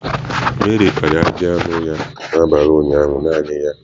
Meri kpara ajị anụ ya n'abalị ụnyaahụ naanị ya.